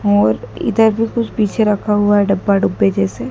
और इधर भी कुछ पीछे रखा हुआ है डब्बा-डिब्बी जैसे।